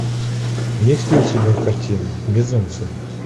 есть ли у тебя картина безумцы